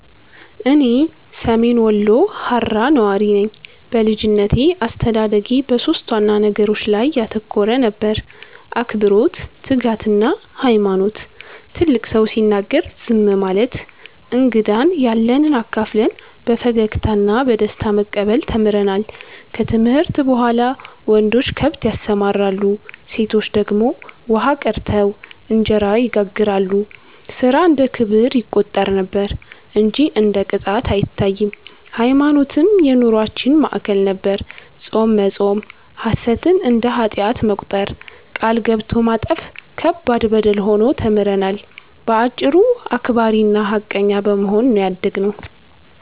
እኔ ሰሜን ወሎ ሃራ ነዋሪ ነኝ። በልጅነቴ አስተዳደጌ በሦስት ዋና ነገሮች ላይ ያተኮረ ነበር፤ አክብሮት፣ ትጋትና ሃይማኖት። ትልቅ ሰው ሲናገር ዝም ማለት፣ እንግዳን ያለንብ አካፍለን በፈገግታ እና በደስታ መቀበል ተምረናል። ከትምህርት በኋላ ወንዶች ከብት ያሰማራሉ፣ ሴቶች ደግሞ ውሃ ቀድተው እንጀራ ይጋግራሉ፤ ሥራ እንደ ክብር ይቆጠር ነበር እንጂ እንደ ቅጣት አይታይም። ሃይማኖትም የኑሮአችን ማዕከል ነበር፤ ጾም መጾም፣ ሐሰትን እንደ ኃጢአት መቁጠር፣ ቃል ገብቶ ማጠፍ ከባድ በደል ሆኖ ተምረናል። በአጭሩ አክባሪና ሃቀኛ በመሆን ነው ያደግነው።